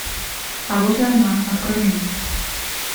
а вот и она открой мне